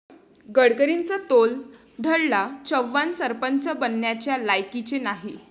गडकरींचा तोल ढळला, 'चव्हाण सरपंच बनण्याच्या लायकीचे नाही'